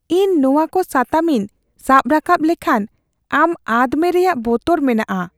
ᱤᱧ ᱱᱚᱣᱟᱠᱩ ᱥᱟᱛᱟᱢᱤᱧ ᱥᱟᱵ ᱨᱟᱠᱟᱵ ᱞᱮᱠᱷᱟᱱ ᱟᱢ ᱟᱫ ᱢᱮ ᱨᱮᱭᱟᱜ ᱵᱚᱛᱚᱨ ᱢᱮᱱᱟᱜᱼᱟ ᱾